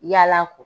Yala ko